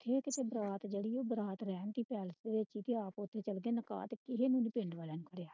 ਜੇ ਕੀਤੇ ਬਰਾਤ ਉਹ ਤੇ ਓਥੋਂ ਆ ਕੇ ਓਥੇ ਚਲ ਗਏ